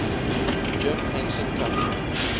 jim henson company